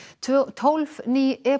tólf ný